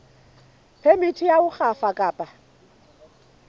phemiti ya ho rafa kapa